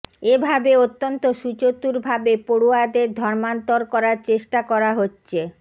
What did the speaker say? এভাবে অত্যন্ত সুচতুরভাবে পড়ুয়াদের ধর্মান্তর করার চেষ্টা করা হচ্ছে